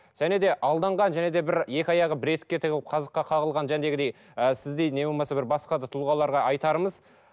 және де алданған және де бір екі аяғы бір етікке тығылып қазыққа қағылған ы сіздей не болмаса бір басқа да тұлғаларға айтарымыз